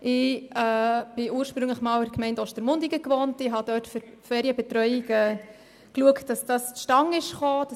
Ich wohnte ursprünglich in Ostermundigen und setzte mich dort für das Zustandekommen der Ferienbetreuung ein.